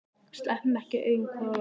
Sleppum ekki augum hvor af öðrum.